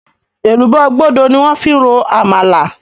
Èlùbọ́ gbódo ni wón fi ń ro Àmàlà